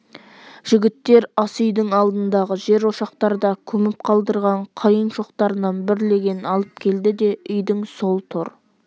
жігіттер ас үйдің алдындағы жер ошақтарда көміп қалдырған қайын шоқтарынан бір легенін алып келді де үйдің сол тор